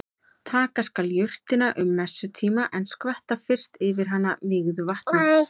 Taka skal jurtina um messutíma en skvetta fyrst yfir hana vígðu vatni.